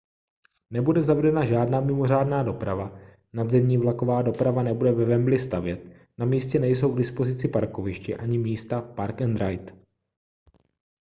nebude zavedena žádná mimořádná doprava nadzemní vlaková doprava nebude ve wembley stavět na místě nejsou k dispozici parkoviště ani místa park-and-ride